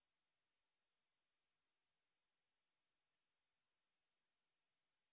এই বিষয় বিস্তারিত তথ্যের জন্য contactspoken tutorialorg তে চিটি পাঠান